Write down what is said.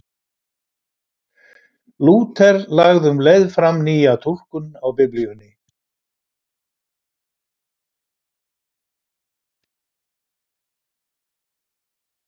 Lúther lagði um leið fram nýja túlkun á Biblíunni.